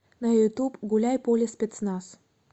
на ютуб гуляй поле спецназ